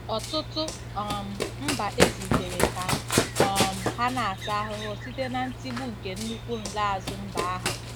Ọtụtụ um mba ezitere ka um ha na-ata ahụhụ site na ntigbu nke nnukwu nlaazu mba ahụ